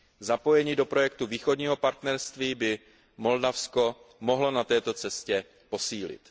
Zapojení do projektu Východního partnerství by Moldavsko na této cestě mělo posílit.